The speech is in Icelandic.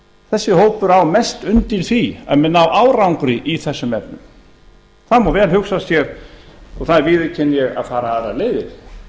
þessi hópur á mest undir því að menn nái árangri í þessum efnum það má vel hugsa sér og það viðurkenni ég að fara aðrar leiðir